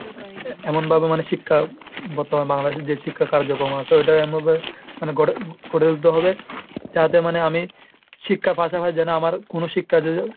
এমন ভাবে মানুষ শিক্ষা আর তোমার Bangladesh এর যে শিক্ষা কার্যকর্ম আসে , ওইটা এমন ভাবে মানে গড়ে~ গড়ে তুলতে হবে যাতে মানে আমি শিক্ষার পাশাপাশি যেন আমার কোন শিক্ষার .